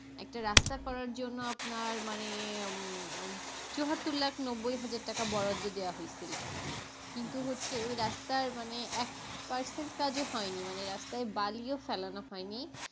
একটা রাস্তা করার জন্য আপনার মানে উম চুয়াত্তর লাখ নব্বই হাজার টাকা বরাদ্দ দেওয়া হয়েছিল কিন্তু হচ্ছে এই রাস্তার মানে এক percent কাজও হয়নি রাস্তায় মানে বালিও ফেলানো হয়নি।